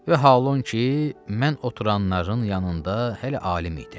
Və halon ki, mən oturanların yanında hələ alim idim.